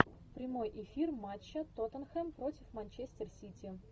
прямой эфир матча тоттенхэм против манчестер сити